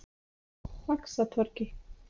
Faxatorgi